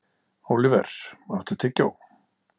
Óliver, áttu tyggjó?